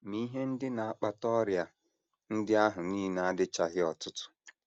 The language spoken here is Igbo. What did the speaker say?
Ma ihe ndị na - akpata ọrịa ndị ahụ nile adịchaghị ọtụtụ.